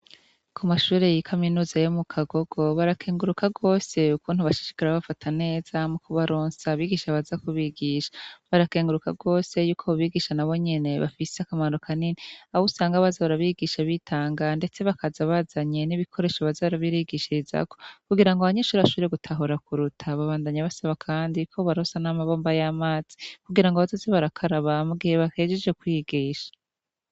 Kumashure ya kaminuza yo mukagogo barakenguruka gose ukuntu bashishikara babafata neza mukubaronsa abigisha baza kubigisha. Barakenguruka gose yuko abobigisha nabo nyene bafise akamaro kanini ahusanga baza barabigisha bitanga ndetse bakaza bazanye n'ibikoresho baza barabigishirazako kugirango abanyeshure bashobore gutahura kuruta. Babandanya basaba kandi kobobarosa n'amabombo y'amazi kugirango bazoze barakaraba mugihe bahejeje kwigisha.